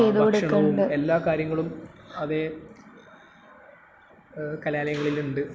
ങാ..ഭക്ഷണവും..എല്ലാ കാര്യങ്ങളും അതേ.......കലാലയങ്ങളിലുണ്ട്.